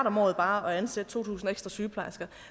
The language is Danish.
om året bare at ansætte to tusind ekstra sygeplejersker